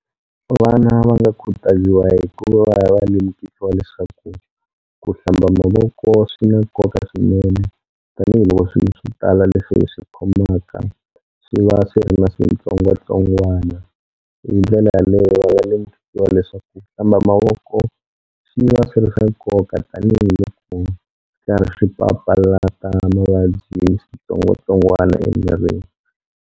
Vana va nga khutaziwa hikuva va lemukisiwa leswaku ku hlamba mavoko swi na nkoka swinene, tanihiloko swilo swo tala leswi hi swi khomaka swi va swi ri na switsongwatsongwana. Hi ndlela yaleyo va nga lemukisiwa leswaku ku hlamba mavoko swi va swi ri swa nkoka tanihiloko karhi swi papalata mavabyi switsongwatsongwana emirini.